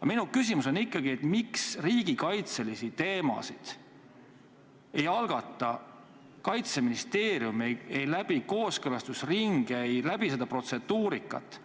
Aga minu küsimus on ikkagi, miks riigikaitselisi eelnõusid ei algata Kaitseministeerium, need ei läbi kooskõlastusringe, seda protseduurikat,